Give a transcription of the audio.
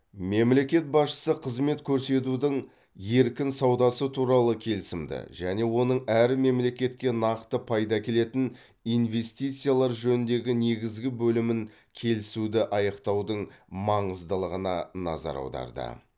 мемлекет басшысы қызмет көрсетудің еркін саудасы туралы келісімді және оның әр мемлекетке нақты пайда әкелетін инвестициялар жөніндегі негізгі бөлімін келісуді аяқтаудың маңыздылығына назар аударды